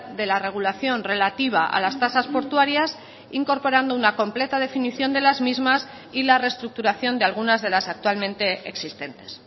de la regulación relativa a las tasas portuarias incorporando una completa definición de las mismas y la restructuración de algunas de las actualmente existentes